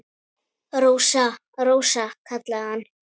Rósa, Rósa, kallaði hann.